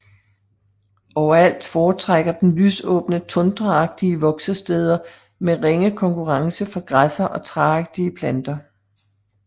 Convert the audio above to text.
Overalt foretrækker den lysåbne tundraagtige voksesteder med ringe konkurrence fra græsser og træagtige planter